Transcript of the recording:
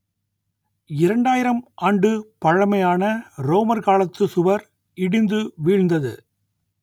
இரண்டாயிரம் ஆண்டு பழமையான ரோமர் காலத்து சுவர் இடிந்து வீழ்ந்தது